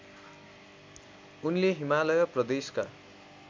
उनले हिमालय प्रदेशका